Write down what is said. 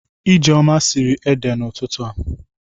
Ijeoma siri ede n'ututu a.